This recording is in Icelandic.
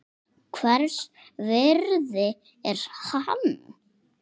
Hvers virði er hann?